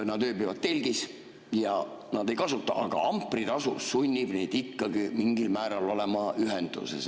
Nad ööbivad telgis ja nad ei kasuta, aga ampritasu sunnib neid ikkagi mingil määral olema ühenduses.